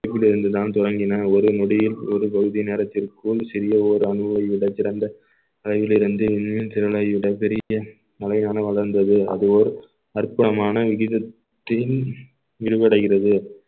இருந்து தான் தொடங்கின ஒரு நொடியில் ஒரு பகுதி நேரத்திற்குள் சிறிய ஒரு அணுவை விட சிறந்த அளவில் இருந்து இன்னும் திறனை விட பெரிய வளர்ந்தது அது ஓர் அற்புதமான வீதத்தின் விரிவடைகிறது